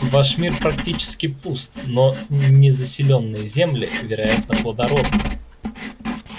ваш мир практически пуст но незаселенные земли вероятно плодородны